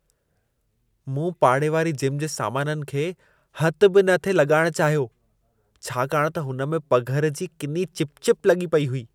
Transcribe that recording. मूं पाड़े वारी जिम जे सामाननि खे हथु बि न थिए लॻाइणु चाहियो। छाकाणि त हुन में पघर जी किनी चिपचिप लॻी पेई हुई।